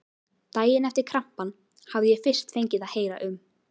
Daginn eftir krampann hafði ég fyrst fengið að heyra um